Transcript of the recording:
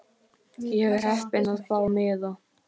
Ég var heppin að fá miða.